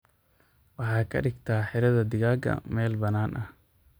Waxaa kadhigta xiradhaa digaaga meel bannaan ah.